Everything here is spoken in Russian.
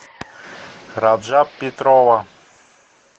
раджаб петрова